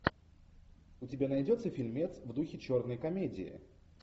у тебя найдется фильмец в духе черной комедии